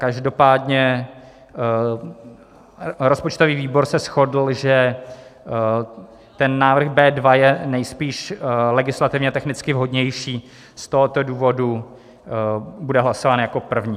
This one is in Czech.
Každopádně rozpočtový výbor se shodl, že návrh B2 je nejspíš legislativně technicky vhodnější, z tohoto důvodu bude hlasován jako první.